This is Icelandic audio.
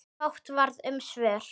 Fátt varð um svör.